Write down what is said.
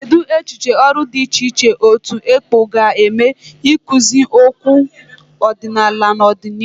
Cheedị echiche ọrụ dị iche iche otu ekpo ga eme ikpụzi okwu ọdịnala n'ọdịnihu.